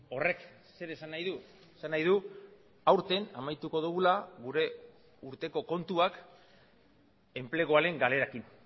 horrek zer esan nahi du esan nahi du aurten amaituko dugula gure urteko kontuak enpleguaren galerekin